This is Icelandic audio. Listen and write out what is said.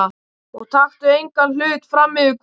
Og taktu engan hlut frammyfir Guð.